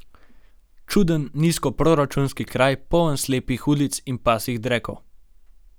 Čuden nizkoproračunski kraj, poln slepih ulic in pasjih drekov.